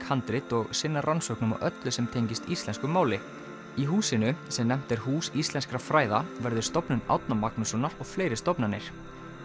handrit og sinna rannsóknum á öllu sem tengist íslensku máli í húsinu sem nefnt er Hús íslenskra fræða verður Stofnun Árna Magnússonar og fleiri stofnanir